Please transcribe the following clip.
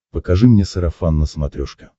покажи мне сарафан на смотрешке